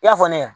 I y'a fɔ ne ɲɛnɛ